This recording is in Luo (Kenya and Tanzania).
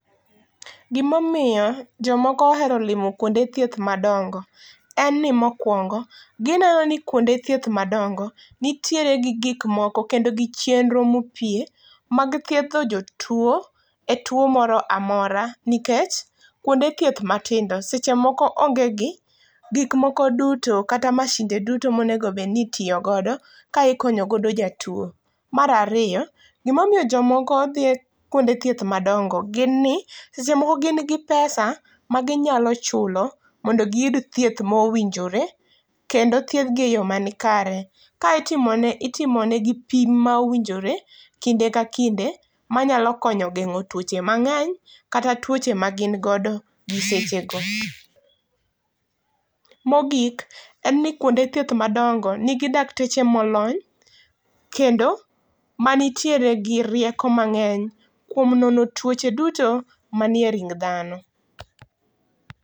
Gima omiyo jomoko ohero limo kuonde thieth madongo en ni mokuongo gineno ni kuonde thieth madongo nitiere gi gik moko kendo gi chenro ma opie mag thiedho jotuo e tuo moro amora, nikech kuonde thieth matindo seche moko onge gi gik moko duto kata mashinde duto monego obed ni itiyo godo ka ikonyo godo jatuo. Mar ariyo gima omiyo jomoko dhie kuonde thieth madongo en ni seche moko gin gi pesa maginyalo chulo mondo giyud thieth mowinjore kendo thiedhgi e yoo manikare ka itimo negi pim ma owinjor ekinde ka kinde manyalo konyo gengo tuoche mangeny kata tuoche magin godo gi seche go. Mogik en ni kuonde thieth madongo nigi dakteche molony kendo manitiere gi rieko mangeny kuom nono tuoche duto manie ring dhano